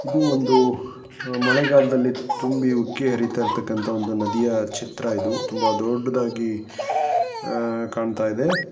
ಇದು ಒಂದು ಮಳೆಗಾಲದಲ್ಲಿ ತುಂಬಿ ಉಕ್ಕಿ ಹರಿತಾ ಇರ್ತಕನಂತಹ ಒಂದು ನದಿಯ ಚಿತ್ರ ಇದು ತುಂಬಾ ದೊಡ್ಡದಾಗಿ ಆಹ್ ಕಾಣ್ತಾ ಇದೆ .